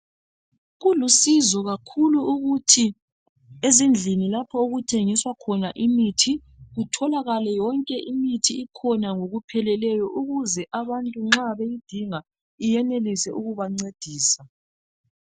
Kulusizo kakhulu ukuthi ezindlini lapho okuthengiswa khona imithi kutholakala yonke imithi ikhona ngokupheleleyo ukuze abantu nxa beyidinga iyenelise ukubancedisa